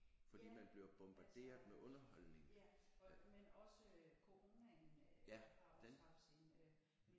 Ja altså ja og men også coronaen øh har også haft sin øh